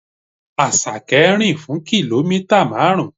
Àṣàkẹ́ rìn fún kìlómítà marun.